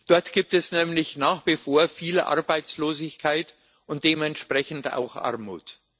Dort gibt es nämlich nach wie vor viel Arbeitslosigkeit und dementsprechend auch Armut.